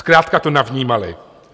Zkrátka to navnímali.